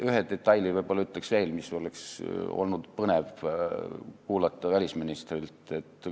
Ühe detaili ütlen veel, mida oleks olnud põnev välisministrilt kuulda.